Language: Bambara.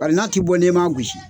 Bari n'a ti bɔ ne m'a gosi